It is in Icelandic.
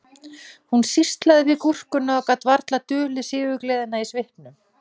Hún sýslaði við gúrkuna og gat varla dulið sigurgleðina í svipnum